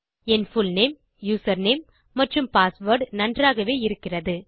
என் full name username மற்றும் password நன்றாகவே இருக்கிறது